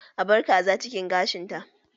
A bar Kaza cikin gashin ta